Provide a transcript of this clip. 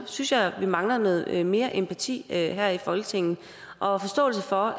synes jeg at vi mangler noget mere empati her i folketinget og forståelse for